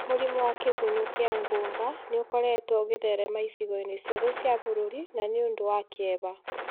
Mũrimũ wa Kĩgũnyũ kĩa ngũnga nĩ ũkoretwo ũgĩtherema icigo-inĩ ciothe cia bũrũri na nĩ ũdũ wa kieha.